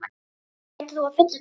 Maggi, hvað heitir þú fullu nafni?